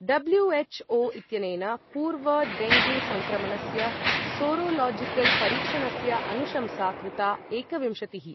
W H O इत्यनेन पूर्वं dengue संक्रमणस्य सीरोलॉजिकल परीक्षणस्य अनुशंसा कृता एकविंशतिः।